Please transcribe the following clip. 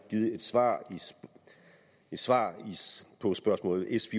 givet et svar svar på spørgsmål s